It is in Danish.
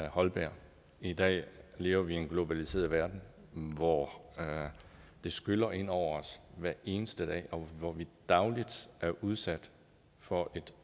holberg i dag lever vi i en globaliseret verden hvor det skyller ind over os hver eneste dag og hvor vi dagligt er udsat for et